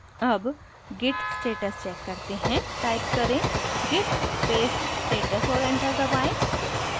अब git status check करते हैं टाइप करें git space status और enter दबाएँ